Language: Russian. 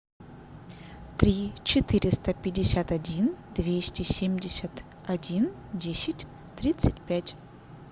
три четыреста пятьдесят один двести семьдесят один десять тридцать пять